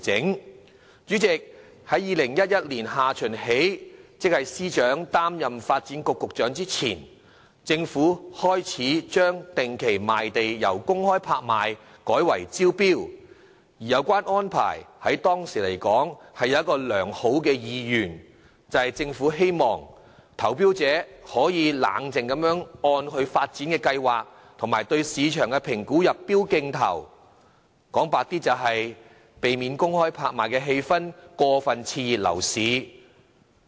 代理主席，自2011年下旬起，即司長擔任發展局局長前，政府開始將定期賣地安排由公開拍賣改為招標，而有關安排在當時來說是有其良好意願，就是希望投標者可以冷靜地按其發展計劃及對市場的評估入標競投，坦白一點說，就是避免公開拍賣的氣氛過分刺激樓市。